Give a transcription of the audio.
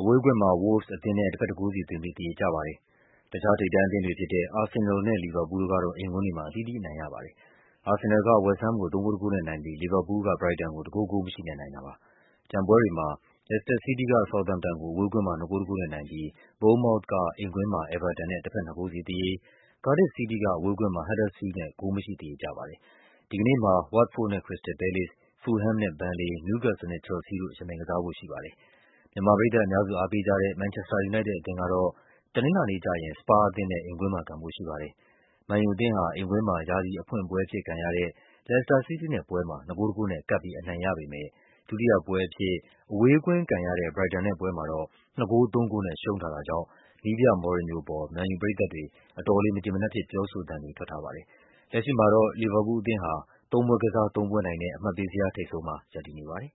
အဝေးကွင်း မှာ Wolves အသင်းနဲ့ တဘက် ၁ ဂိုးစီသွင်းပြီး သရေကျသွားပါတယ်။ တခြား ထိပ်တန်းအသင်းတွေဖြစ်တဲ့ အာဆင်နယ်လ်နဲ့ လီဗာပူးလ်တို့ကတော့ အိမ်ကွင်းတွေမှာ အသီးသီးအနိုင်ရပါတယ်။ အာဆင်နယ်လ်က ဝက်စ်ဟမ်းမ်ကို ၃ ဂိုး ၁ ဂိုးနဲ့နိုင်ပြီး လီဗာပူးလ်က ဘရိုက်တန်ကို ၁ ဂိုး ဂိုးမရှိနဲ့ အနိုင်ရတာပါ။ ကျန်ပွဲတွေမှာ လက်စ်တာ စီးတီးက ဆောက်သမ်ပ်တန်ကို အဝေးကွင်းမှာ ၂ ဂိုး ၁ ဂိုးနဲ့နို င်ပြီး ဘုန်းန်မောက်သ်က အိမ်ကွင်းမှာ အဲဗာတန်နဲ့ တဘက် ၂ ဂိုးစီ သရေ၊ ကားဒစ်ဖ် စီးတီးက အဝေးကွင်းမှာ ဟပ်ဒါစ်ဖီးလ်ဒ်နဲ့ ဂိုးမရှိ သရေကျပါတယ်။ တနင်္ဂနွေနေ့မှာ ဝတ်တ် ဖို့ဒ်နဲ့ ခရစ္စတယ်လ် ပဲလေ့စ်၊ ဖူလ်ဟမ်းမ်နဲ့ ဘန်လေ၊ နယူးကက်ဆယ်လ်နဲ့ ချယ်လ်ဆီးတို့ ယှဉ်ပြိုင်ကစားဖို့ရှိပါတယ်။ မြန်မာပရိသတ်အများစု အားပေးကြတဲ့ မန်ချက်စတာ ယူနိုက်တက်အသင်းကတော့ တနင်္လာနေ့ကျရင် စပါးအသင်းနဲ့ အိမ်ကွင်း မှာ ကန်ဖို့ရှိပါတယ်။ မန်ယူအသင်းဟာ အိမ်ကွင်းမှာ ရာသီအဖွင့်ပွဲအဖြစ်ကန်ရတဲ့ လက်စ်တာ စီးတီးနဲ့ပွဲမှာ ၂ ဂိုး ၁ ဂိုးနဲ့ ကပ်ပြီး အနိုင်ရပေမဲ့ ဒုတိယ ပွဲအဖြစ် အဝေးကွင်းကန်ရတဲ့ ဘရိုက်တန်နဲ့ပွဲ မှာတော့ ၂ ဂိုး ၃ ဂိုးနဲ့ ရှုံးထားတာကြောင့် နည်းပြ မော်ရင်ညိုအပေါ် မန်ယူပရိသတ်တွေ အတော်လေး မကျေမနပ်ဖြစ် ပြောဆိုသံတွေ ထွက်ထားပါတယ်။ လက်ရှိမှာတော့ လီဗာပူးလ်အသင်းဟာ ၃ ပွဲကစား ၃ ပွဲနိုင်နဲ့ အမှတ်ပေးဇယား ထိပ်ဆုံး မှာ ရပ်တည်နေပါတယ်